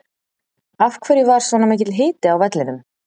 Af hverju var svona mikill hiti á vellinum?